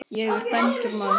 Ég er dæmdur maður.